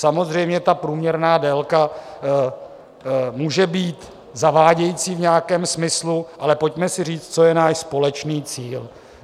Samozřejmě ta průměrná délka může být zavádějící v nějakém smyslu, ale pojďme si říct, co je náš společný cíl.